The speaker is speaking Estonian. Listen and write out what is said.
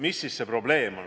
Mis see probleem siis on?